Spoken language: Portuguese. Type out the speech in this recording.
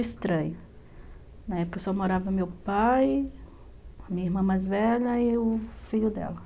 Na época eu só morava meu pai, minha irmã mais velha e o filho dela.